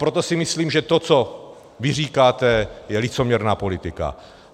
Proto si myslím, že to, co vy říkáte, je licoměrná politika.